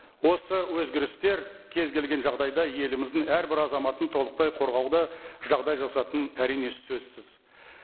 осы өзгерістер кез келген жағдайда еліміздің әрбір азаматын толықтай қорғауды жағдай жасайтыны әрине сөзсіз